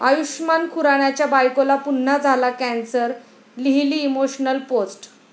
आयुष्मान खुरानाच्या बायकोला पुन्हा झाला कॅन्सर, लिहिली इमोशनल पोस्ट